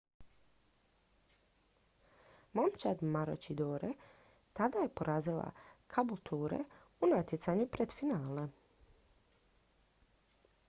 momčad maroochydore tada je porazila caboolture u natjecanju pred finale